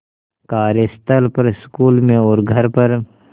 कार्यस्थल पर स्कूल में और घर पर